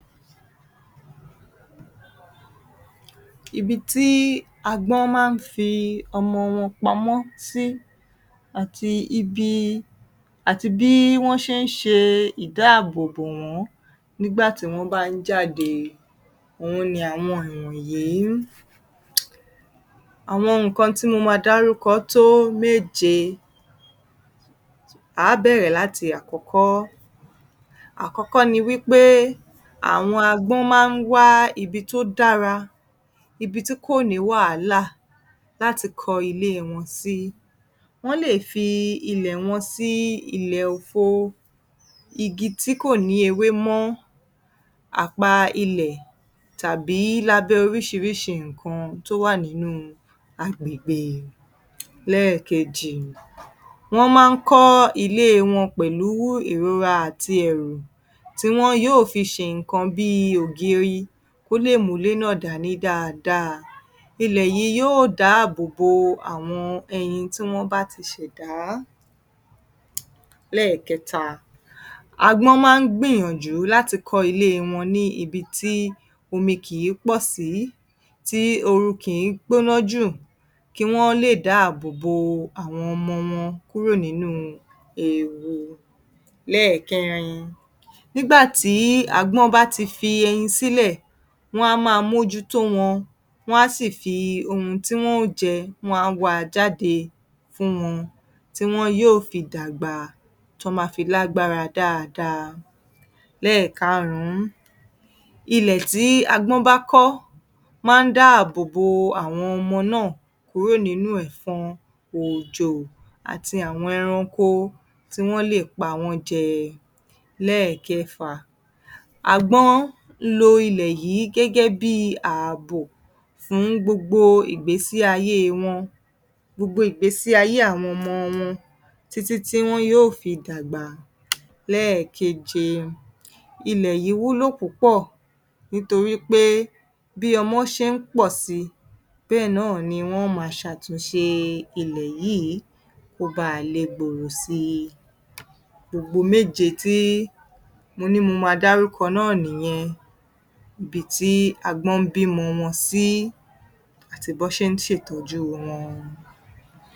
Ibi tí agbọ́n máa ń fi ọmọ wọn pamọ́ sí àti ibi, àti bí wọ́n ṣe ń ṣe ìdáàbò bò wọ́n nígbà tí wọ́n bá ń jáde òhun ni àwọn ìwọ̀nyìí um. Àwọn nǹkan tí mo máa dárúkọ tó méje. À á bẹ̀rẹ̀ láti àkọ́kọ́. Àkọ́kọ́ ni wí pé àwọn agbọ́n máa ń wá ibi tó dára, ibi tí kò ní wàhálà láti kọ́ ilé wọn sí. Wọ́n lè fi ilẹ̀ wọn sí ilẹ̀ òfo, igi tí kò ní ewé mọ́, àpa ilẹ̀ tàbí lábẹ́ oríṣiríṣi nǹkan tó wà nínúu agbègbè. Lẹ́ẹ̀kejì, wọ́n máa ń kọ́ ilé wọn pẹ̀lú ìrora àti ẹ̀rù tí wọn yóò fi ṣe nǹkan bíi ògiri kó lè múlé náà dání dáadáa. Ìlẹ̀ yìí yóò dáàbò bo àwọn ẹyin tí wọ́n bá ti ṣẹ̀dá. Lẹ́ẹ̀kẹta, agbọ́n máa ń gbìyànjú láti kọ́ ilé wọn ní ibi tí omi kìí pọ̀ sí, tí ooru kìí gbóná jù kí wọ́n lè dáàbò bo àwọn ọmọ wọn kúrò nínúu ewu. Lẹ́ẹ̀kẹrin, nígbà tí agbọ́n bá ti fi ẹyin sílẹ̀, wọ́n á máa mójú tó wọn, wọ́n á sì fi ohun tí wọ́n ó jẹ, wọ́n á wá a jáde fún wọn, tí wọn yóò fi dàgbà, tí wọ́n máa fi lágbára dáadáa. Lẹ́ẹ̀karùn-ún, ilẹ̀ tí agbọ́n bá kọ́, máa ń dáàbò bo àwọn ọmọ náà kúrò nínú ẹ̀fọn, òjò, àti awọn ẹranko tí wọ́n lè pa wẹ́n jẹ. Lẹ́ẹ̀kẹfà, agbọ́n ń lo ilẹ̀ yìí gẹ́gẹ́ bíi ààbò fún gbogbo ìgbésí-ayé wọn, gbogbo ìgbèsì-ayé àwọn ọmọ wọn tittí tí wọn yóò fi dàgbà. Lẹ́ẹ̀keje, ilẹ̀ yìí wúlò púpọ̀ nítorí pé bí ọmọ ṣe ń pọ̀ síi, bẹ́ẹ̀ náà ni wọ́n ó máa ṣàtúnṣe ilẹ̀ yíìí kó baà le gbòòrò síi. Gbogbo méje tí mo ní mo máa dárúkọ náà nìyẹn. Ibi tí agbọ́n ń bímọ wọn sí àti bí wọ́n ṣe ń ṣètọ́jú wọn.